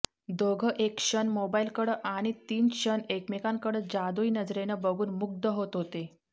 दोघं एक क्षण मोबाइलकडं आणि तीन क्षण एकमेकांकडं जादुई नजरेनं बघून मुग्ध होत होते